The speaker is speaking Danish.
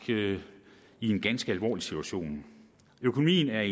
i en ganske alvorlig situation økonomien er